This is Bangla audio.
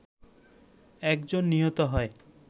একজন নিহত হয়